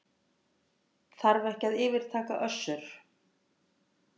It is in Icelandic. Þarf ekki að yfirtaka Össur